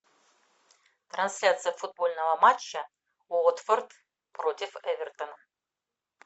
трансляция футбольного матча уотфорд против эвертона